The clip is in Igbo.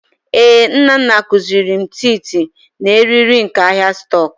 Ee, Nnanna kuziri m tịịtị na riiri nke ahịa stock